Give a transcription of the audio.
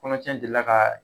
Kɔnɔtiɲɛ delila ka